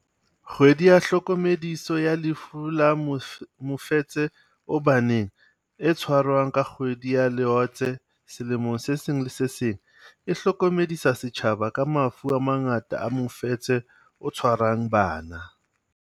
KGWEDI YA TLHOKOMEDISO ya Lefu la Mofetshe o Baneng, e tshwarwang ka kgwedi ya Loetse selemong se seng le se seng, e hlokomedisa setjhaba ka mafu a mangata a mofetshe o tshwarang bana.